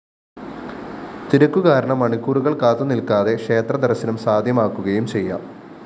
തിരക്കുകാരണം മണിക്കൂറുകള്‍ കാത്തുനില്‍ക്കാതെ ക്ഷേത്രദര്‍ശനം സാദ്ധ്യമാക്കുകയും ചെയ്യാം